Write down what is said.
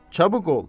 Çabuk ol!